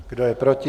Kdo je proti?